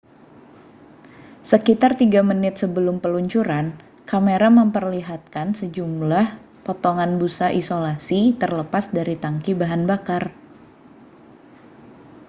sekitar 3 menit sebelum peluncuran kamera memperlihatkan sejumlah potongan busa isolasi terlepas dari tangki bahan bakar